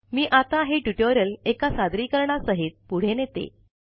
मी आता हे ट्युटोरियल एका सादरीकरणा सहित पुढे नेते